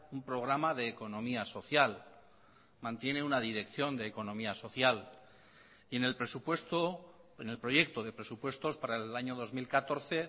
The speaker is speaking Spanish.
un programa de economía social mantiene una dirección de economía social y en el presupuesto en el proyecto de presupuestos para el año dos mil catorce